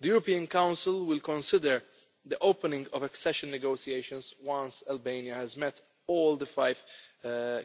The European Council will consider the opening of accession negotiations once Albania has met all the five